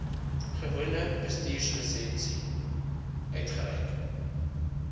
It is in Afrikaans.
gewone bestuurslisensie uitgereik